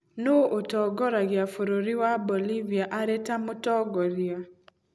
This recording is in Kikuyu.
Nũũ ũtongoragia bũrũri wa Bolivia arĩ ta Mũtongoria?